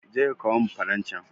Je ka kawo min faran can